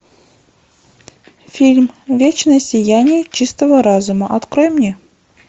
фильм вечное сияние чистого разума открой мне